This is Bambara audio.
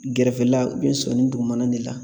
Gɛrɛfɛla sɔni dugumana de la